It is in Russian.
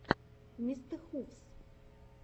мистэхувс